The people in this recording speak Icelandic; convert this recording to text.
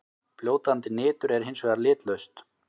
Fljótandi nitur er hins vegar litlaust.